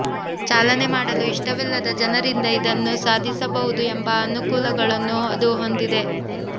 ಚಾಲನೆ ಮಾಡಲು ಇಷ್ಟವಿಲ್ಲದ ಜನರಿಂದ ಇದನ್ನು ಸಾಧಿಸಬಹುದು ಎಂಬ ಅನುಕೂಲಗಳನ್ನು ಅದು ಹೊಂದಿದೆ